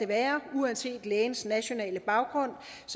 være uanset lægens nationale baggrund